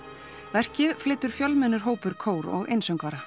verkið flytur fjölmennur hópur kór og einsöngvara